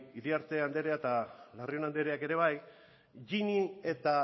iriarte anderea eta larrion andereak ere bai gini eta